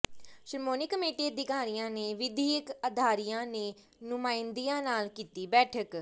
Shiromani committee ਅਧਿਕਾਰੀਆਂ ਨੇ ਵਿਦਿਅਕ ਅਦਾਰਿਆਂ ਦੇ ਨੁਮਾਇੰਦਿਆਂ ਨਾਲ ਕੀਤੀ ਬੈਠਕ